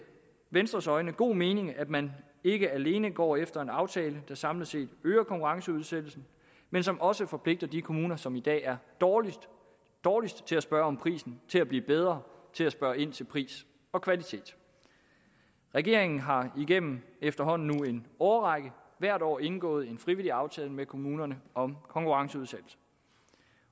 venstres øjne god mening at man ikke alene går efter en aftale der samlet set øger konkurrenceudsættelsen men som også forpligter de kommuner som i dag er dårligst dårligst til at spørge om prisen til at blive bedre til at spørge ind til pris og kvalitet regeringen har igennem efterhånden en årrække hvert år indgået en frivillig aftale med kommunerne om konkurrenceudsættelse